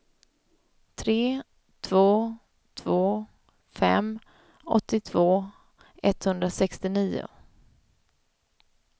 tre två två fem åttiotvå etthundrasextionio